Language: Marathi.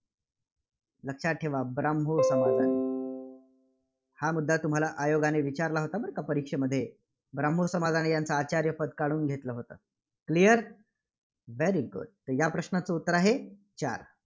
लक्षात ठेवा ब्राह्मो समजा. हा मुद्दा तुम्हाला आयोगाने विचारला होता बरं का परीक्षेमध्ये. ब्राह्मो समाजाने यांच आचार्यपद काढून घेतलं होतं clear? very good तर ह्या प्रश्नाचं उत्तर आहे चार.